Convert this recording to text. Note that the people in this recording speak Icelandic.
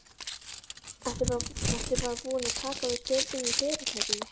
Ertu bara búin að taka við stjórninni í fyrirtækinu?